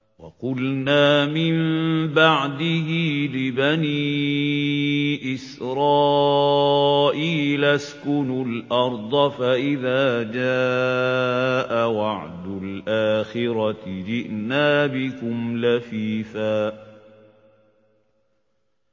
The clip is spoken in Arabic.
وَقُلْنَا مِن بَعْدِهِ لِبَنِي إِسْرَائِيلَ اسْكُنُوا الْأَرْضَ فَإِذَا جَاءَ وَعْدُ الْآخِرَةِ جِئْنَا بِكُمْ لَفِيفًا